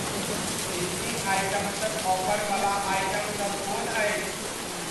Seasoning आइटम्सक offer बला item सब कोन अछि?